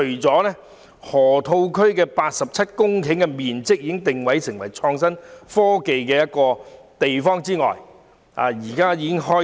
佔地87公頃的河套區已定位為發展創新科技的地方，並且正在施工。